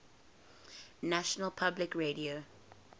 national public radio